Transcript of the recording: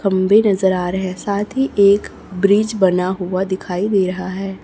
खम्बे नजर आ रहे हैं साथी एक ब्रिज बना हुआ दिखाई दे रहा है।